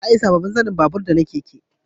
Za a yi sabobbin zanen babur da na keke